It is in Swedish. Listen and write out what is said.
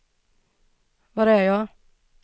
var är jag